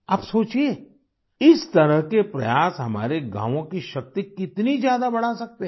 आप सोचिए इस तरह के प्रयास हमारे गाँवों की शक्ति कितनी ज्यादा बढ़ा सकते हैं